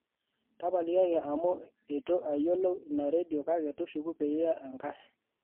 tapalikiaki amu eitu ayolou Ina redio kake tushuku piiya enkae